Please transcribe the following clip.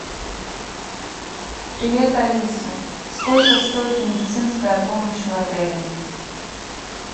привет алиса сколько стоит медицинская помощь в отеле